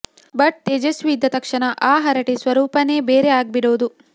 but Tejaswi ಇದ್ದ ತಕ್ಷಣ ಆ ಹರಟೆ ಸ್ವರೂಪನೇ ಬೇರೆ ಆಗ್ಬಿಡೋದು